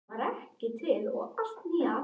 Það hlýtur að vera óbærilegt.